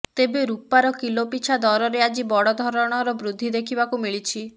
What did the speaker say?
ତେବେ ରୁପାର କିଲୋ ପିଛା ଦରରେ ଆଜି ବଡ଼ ଧରଣର ବୃଦ୍ଧି ଦେଖିବାକୁ ମିଳିଛି